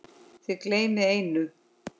Þið gleymið einu.